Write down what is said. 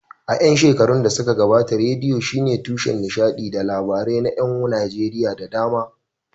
A ƴan shekarun da suka gabata, rediyo shine tushen nishadi da labarai na ƴan Najeriya da dama.